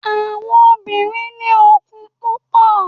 àwọn obìrin ni okun púpò